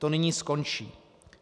To nyní skončí.